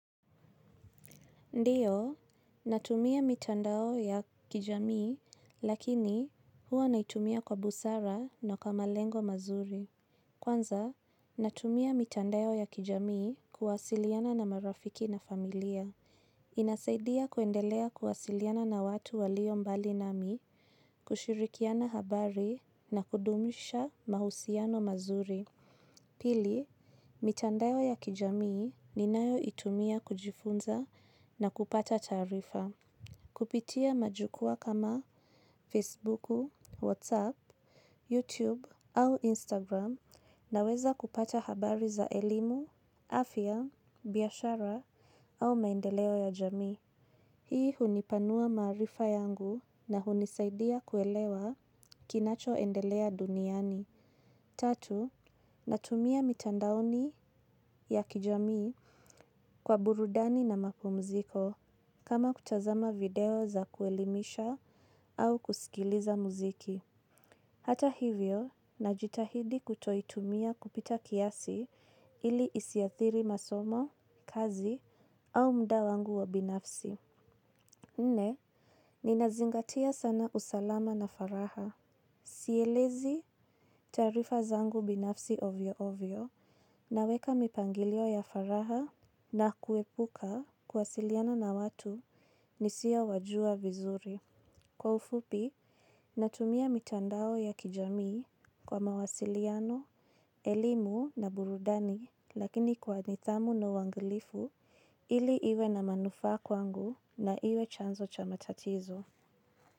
Ndiyo, natumia mitandao ya kijamii, lakini huwa naitumia kwa busara na kwa malengo mazuri. Kwanza, natumia mitandao ya kijamii kuwasiliana na marafiki na familia. Inasaidia kuendelea kuwasiliana na watu walio mbali nami, kushirikiana habari na kudumisha mahusiano mazuri. Pili, mitandao ya kijamii ni nayo itumia kujifunza na kupata taarifa. Kupitia majukwa kama Facebooku, WhatsApp, YouTube au Instagram naweza kupata habari za elimu, afya, biashara au maendeleo ya jamii. Hii hunipanua maarifa yangu na hunisaidia kuelewa kinacho endelea duniani. Tatu, natumia mitandaoni ya kijamii kwa burudani na mapumziko kama kutazama video za kuelimisha au kusikiliza muziki. Hata hivyo, najitahidi kutoitumia kupita kiasi ili isiadhili masomo, kazi au muda wangu wa binafsi. Nne, ninazingatia sana usalama na furaha. Sielezi taarifa zangu binafsi ovyo ovyo na weka mipangilio ya furaha na kuepuka kuwasiliano na watu nisio wajua vizuri. Kwa ufupi, natumia mitandao ya kijamii kwa mawasiliano, elimu na burudani lakini kwa nidhamu na uangalifu ili iwe na manufaa kwangu na iwe chanzo cha matatizo.